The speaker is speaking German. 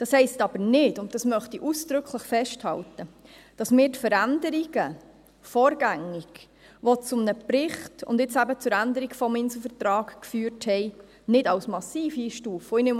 Das heisst nicht – und dies möchte ich ausdrücklich festhalten –, dass wir die Veränderungen vorgängig, welche zu einem Bericht und zur Änderung des Inselvertrags geführt haben, nicht als massiv einstufen.